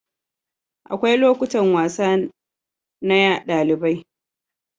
Akwai lokutan wasa na ɗalibai.